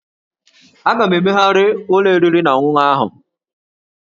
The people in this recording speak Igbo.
A ga-emegharị ụlọ oriri na ọṅụṅụ ahụ